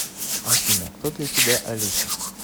афина кто для тебя алиса